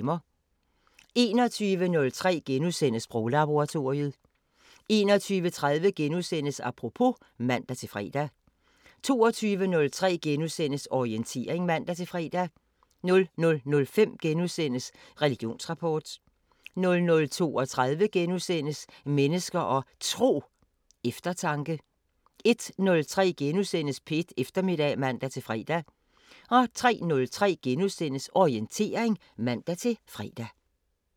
21:03: Sproglaboratoriet * 21:30: Apropos *(man-fre) 22:03: Orientering *(man-fre) 00:05: Religionsrapport * 00:32: Mennesker og Tro: Eftertanke * 01:03: P1 Eftermiddag *(man-fre) 03:03: Orientering *(man-fre)